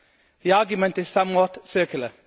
The argument is somewhat circular.